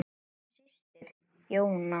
Þín systir, Jóna.